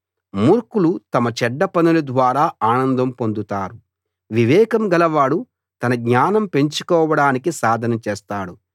మూర్ఖులు తమ చెడ్డ పనుల ద్వారా ఆనందం పొందుతారు వివేకం గలవాడు తన జ్ఞానం పెంచుకోవడానికి సాధన చేస్తాడు